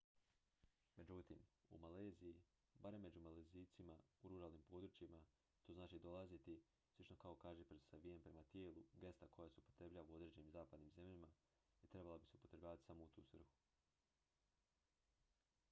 međutim u maleziji barem među malezijcima u ruralnim područjima to znači dolaziti slično kao kažiprst savijen prema tijelu gesta koja se upotrebljava u određenim zapadnim zemljama i trebala bi se upotrebljavati samo u tu svrhu